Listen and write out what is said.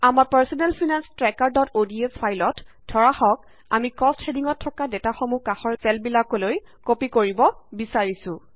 আমাৰ personal finance ট্ৰেকাৰods ফাইলত ধৰা হওক আমি কষ্ট হেডিঙত থকা ডেটাসমূহ কাষৰ চেলবিলাকলৈ কপি কৰিব বিচাৰিছো